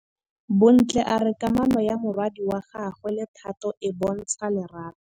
Bontle a re kamanô ya morwadi wa gagwe le Thato e bontsha lerato.